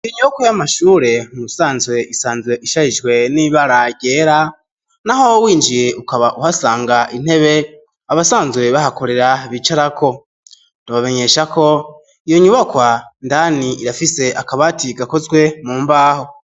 Iyo nyubakwa y'amashure mu busanzwe isanzwe ishajijwe n'ibara ryera naho winjiye ukaba uhasanga intebe abasanzwe bahakorera bicarako ndabamenyesha ko iyo nyubakwa indani irafise akabati gakozwe mu mbaho